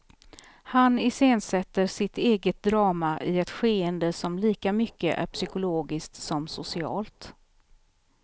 Han iscensätter sitt eget drama i ett skeende som lika mycket är psykologiskt som socialt.